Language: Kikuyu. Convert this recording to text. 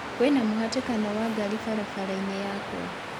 kwĩna mũhatĩkano wa ngari barabara-inĩ yakwa